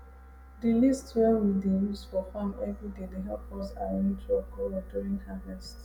di list wey we dey use for farm every day dey help us arrange work well during harvest